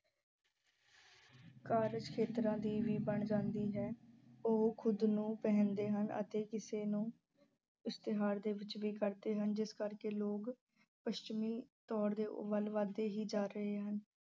ਕਾਰਜ ਖੇਤਰਾਂ ਦੀ ਵੀ ਬਣ ਜਾਂਦੀ ਹੈ। ਉਹ ਖੁਦ ਨੂੰ ਪਹਿਨਦੇ ਹਨ ਅਤੇ ਕਿਸੇ ਨੂੰ ਇਸ਼ਤਿਹਾਰ ਦੇ ਵਿੱਚ ਵੀ ਵਰਤਦੇ ਹਨ ਜਿਸ ਕਰਕੇ ਲੋਕ ਪੱਛਮੀ ਤੌਰ ਦੇ ਵੱਲ ਵੱਧਦੇ ਹੀ ਜਾ ਰਹੇ ਹਨ।